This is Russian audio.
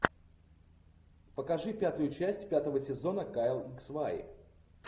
покажи пятую часть пятого сезона кайл икс вай